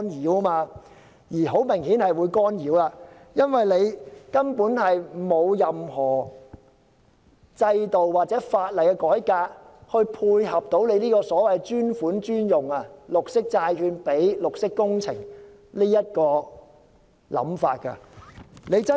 這顯然是會受干擾的，因為現時根本並無制度或法例的改革來配合這個所謂專款專用的想法，即綠色債券供綠色工程使用。